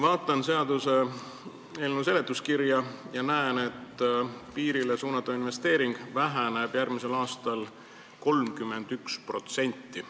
Vaatan seaduseelnõu seletuskirja ja näen, et piirile suunatav investeering väheneb järgmisel aastal 31%.